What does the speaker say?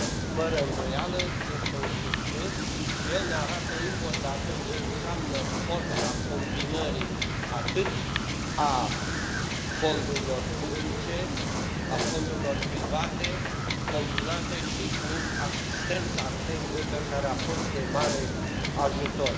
Fără îndoială, este un succes și el ne arată încă o dată ce înseamnă forța combinării atât a fondurilor publice, a fondurilor private, combinate și cu asistența tehnică, care a fost de mare ajutor.